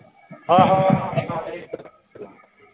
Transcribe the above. ਆਹੋ